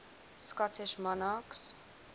scottish monarchs